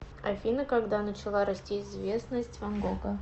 афина когда начала расти известность ван гога